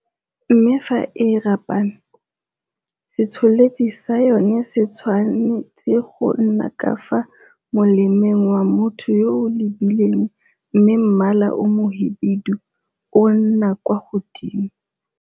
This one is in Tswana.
Mme fa e rapame, se tsholetsi sa yona se tshwane tse go nna ka fa molemeng wa motho yo o e lebileng mme mmala o mohibidu o nna kwa godimo.